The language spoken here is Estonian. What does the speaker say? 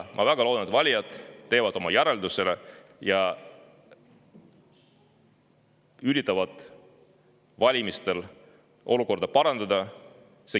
Ma väga loodan, et valijad teevad oma järelduse ja üritavad valimistega olukorda parandada.